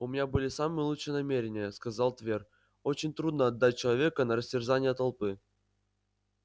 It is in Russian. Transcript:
у меня были самые лучшие намерения сказал твер очень трудно отдать человека на растерзание толпы